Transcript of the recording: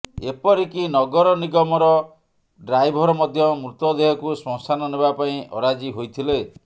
ଏପରିକି ନଗର ନିଗମର ଡ୍ରାଇଭର୍ ମଧ୍ୟ ମୃତଦେହକୁ ଶ୍ମଶାନ ନେବା ପାଇଁ ଅରାଜି ହୋଇଥିଲେ